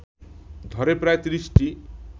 ধরে প্রায় তিরিশটি